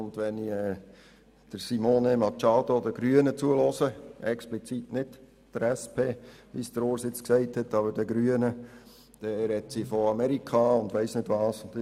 Und wenn ich Simone Machado und den Grünen zuhöre – explizit nicht der SP, wie Urs jetzt gesagt hat – spricht sie von Amerika und von wer weiss was allem.